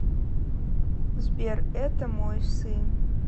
сбер это мой сын